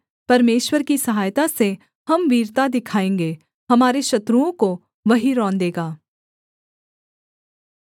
परमेश्वर की सहायता से हम वीरता दिखाएँगे हमारे शत्रुओं को वही रौंदेगा